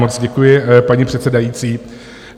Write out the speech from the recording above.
Moc děkuji, paní předsedající.